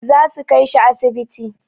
Zasu kai shi asibiti.